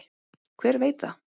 Hver veit það?